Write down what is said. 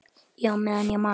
Já, meðan ég man.